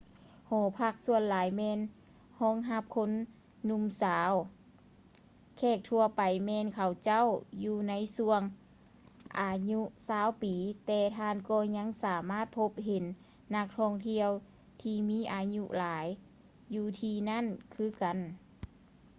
ຫໍພັກສ່ວນຫຼາຍແມ່ນຮອງຮັບຄົນໜຸ່ມສາວ ແຂກທົ່ວໄປແມ່ນເຂົາເຈົ້າຢູ່ໃນຊ່ວງອາຍຸຊາວປີ ແຕ່ທ່ານກໍຍັງສາມາດພົບເຫັນນັກທ່ອງທ່ຽວທີ່ມີອາຍຸຫຼາຍຢູ່ທີ່ນັ້ນຄືກັນ